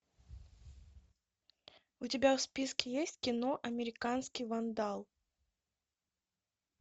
у тебя в списке есть кино американский вандал